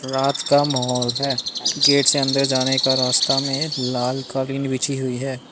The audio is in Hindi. रात का माहौल है गेट से अंदर जाने का रास्ता में लाल कालीन बिछी हुई है।